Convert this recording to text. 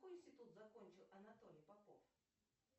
какой институт закончил анатолий попов